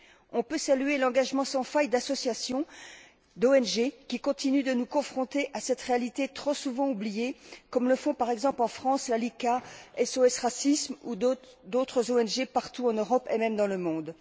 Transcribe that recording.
On peut saluer l'engagement sans faille d'associations, d'ONG, qui continuent de nous confronter à cette réalité trop souvent oubliée comme le font, par exemple, en France, la Licra, SOS Racisme, ou d'autres ONG, partout en Europe et même dans le monde.